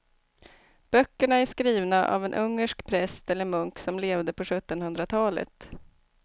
Böckerna är skrivna av en ungersk präst eller munk som levde på sjuttonhundratalet.